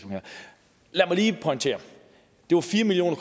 lad mig lige pointere at det var fire million